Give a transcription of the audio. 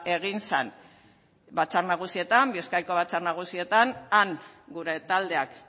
egin zan bizkaiko batzar nagusietan han gure taldeak